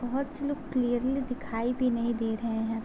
बोहोत से लोग क्लियरली दिखाई भी नहीं रहे हैं।